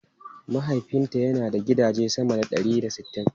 Mahaifinta yana da gidaje sama da ɗari da sittin.